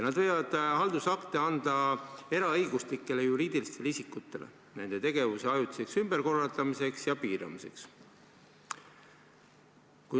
Nad võivad haldusakte anda eraõiguslikele juriidilistele isikutele nende tegevuse ajutiseks ümberkorraldamiseks ja piiramiseks.